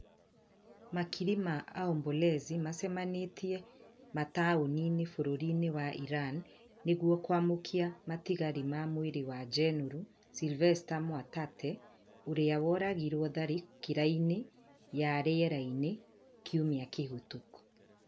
Makiri ma aombolezi macemanĩtie mataũni-inĩ bũrũri-inĩ wa Iran nĩguo kwamũkĩa matigari ma mwĩrĩ wa jenũrũ Silvester Mwatate ũrĩa woragirwo tharĩkĩra-inĩ ya rĩera-inĩ kiumia kĩhĩtũku